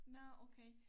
Nå okay